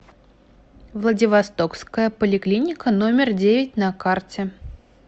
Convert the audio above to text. владивостокская поликлиника номер девять на карте